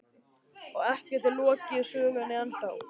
Og ekki er lokið sögunni ennþá.